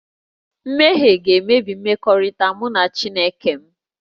Mmehie ga-emebi mmekọrịta mụ na Chineke m